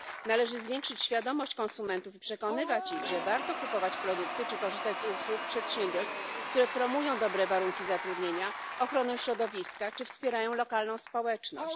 Należy zwiększyć świadomość konsumentów i przekonywać ich, że warto kupować produkty czy korzystać z usług przedsiębiorstw promujących dobre warunki zatrudnienia, ochronę środowiska czy wspierających lokalną społeczność.